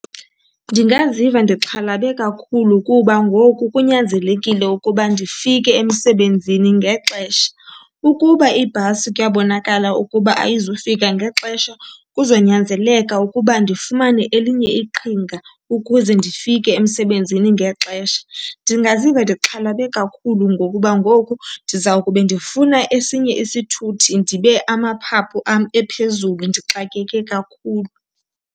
Ndingaziva ndixhalabe kakhulu kuba ngoku kunyanzelekile ukuba ndifike emsebenzini ngexesha. Ukuba ibhasi kuyabonakala ukuba ayizufika ngexesha, kuzonyanzeleka ukuba ndifumane elinye iqhinga ukuze ndifike emsebenzini ngexesha. Ndingaziva ndixhalabe kakhulu ngokuba ngoku ndiza kube ndifuna esinye isithuthi ndibe amaphaphu am ephezulu ndixakeke kakhulu.